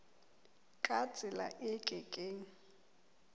ka tsela e ke keng